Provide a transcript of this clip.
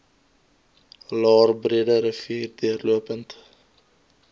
laer breederivier deurlopend